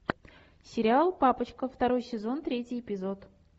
сериал папочка второй сезон третий эпизод